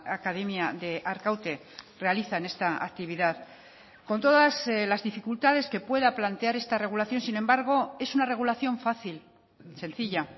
academia de arkaute realizan esta actividad con todas las dificultades que pueda plantear esta regulación sin embargo es una regulación fácil sencilla